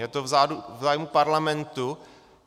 Je to v zájmu Parlamentu.